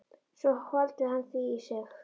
Svo hvolfdi hann því í sig.